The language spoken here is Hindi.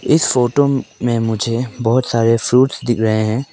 इस फोटो में मुझे बहुत सारे फ्रूट्स दिख रहे हैं।